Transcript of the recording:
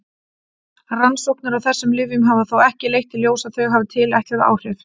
Rannsóknir á þessum lyfjum hafa þó ekki leitt í ljós að þau hafi tilætluð áhrif.